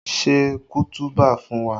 Ṣe kutuba fún wa!